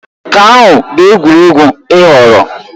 Nke ahụ bụ egwuregwu ị họọrọ?